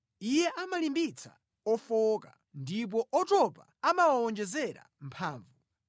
Iye amalimbitsa ofowoka ndipo otopa amawawonjezera mphamvu.